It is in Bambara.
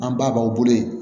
An ba b'aw bolo yen